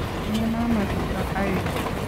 Tinyei mama tuga aeng